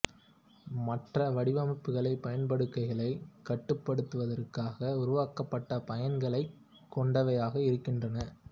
மற்ற வடிவமைப்புகள் பயன்பாடுகளைக் கட்டுப்படுத்துவதற்காக உருவாக்கப்பட்ட பயன்களைக் கொண்டவையாக இருக்கின்றன